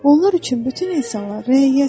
Onlar üçün bütün insanlar rəiyyətdir.